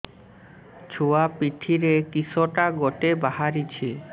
ଛୁଆ ପିଠିରେ କିଶଟା ଗୋଟେ ବାହାରିଛି